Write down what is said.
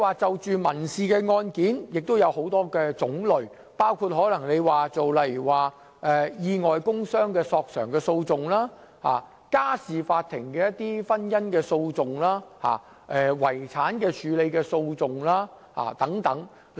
在民事案件方面也有很多種類，包括意外工傷索償的訴訟、家事法庭的婚姻訴訟及遺產處理訴訟等。